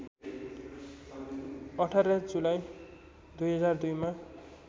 १८ जुलाई २००२ मा